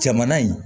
Jamana in